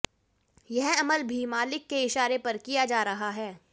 यह अमल भी मालिक के इशारे पर किया जा रहा है